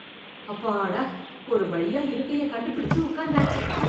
அப்பாடா, ஒரு வழியா இருக்கைய கண்டு பிடிச்சு உக்காந்தாச்சு